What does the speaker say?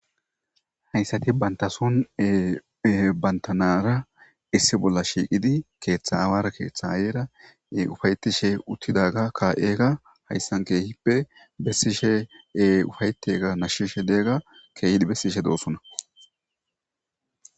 hayssati banta son bantanara issi bolla shiiqidi keeththa awara keeththa ayeera ufayetishe uttidaga ka7eega hayssan keehippe bessishe e ufayetega nashshishe deegga keehidi bessishe doossona